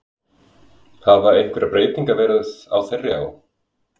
Hafa einhverjar breytingar verið á þeirri á?